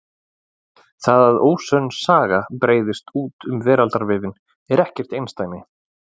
það að ósönn saga breiðist út um veraldarvefinn er ekkert einsdæmi